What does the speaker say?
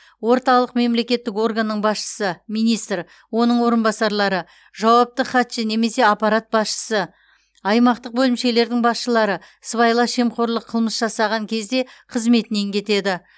орталық мемлекеттік органның басшысы министр оның орынбасарлары жауапты хатшы немесе аппарат басшысы аймақтық бөлімшелердің басшылары сыбайлас жемқорлық қылмыс жасаған кезде қызметінен кетеді